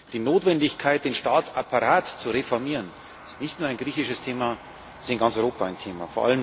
Die Notwendigkeit, den Staatsapparat zu reformieren, ist nicht nur ein griechisches Thema, es ist in ganz Europa ein Thema.